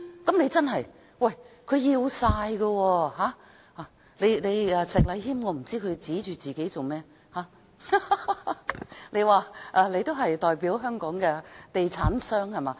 我不知道石禮謙議員為何指着自己，你的意思是說你代表香港的地產商，是嗎？